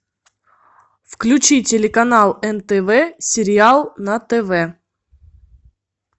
включи телеканал нтв сериал на тв